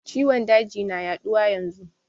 Ciwon daji na yaɗuwa yanzu